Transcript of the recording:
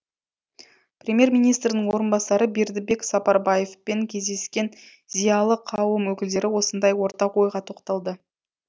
премьер министрдің орынбасары бердібек сапарбаевпен кездескен зиялы қауым өкілдері осындай ортақ ойға тоқталды